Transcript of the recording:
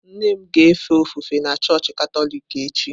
Nne m ga-efe ofufe na chọọchị Katọlik echi.